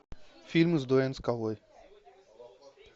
фильм с дуэйн скалой